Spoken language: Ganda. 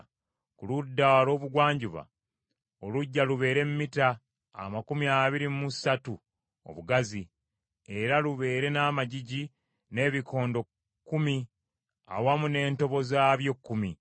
“Ku ludda olw’obugwanjuba oluggya lubeere mita amakumi abiri mu ssatu obugazi, era lubeere n’amagigi n’ebikondo kkumi awamu n’entobo zaabyo kkumi.